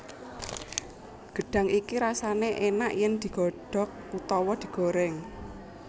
Gedhang iki rasane enak yen digodhog utawa digoreng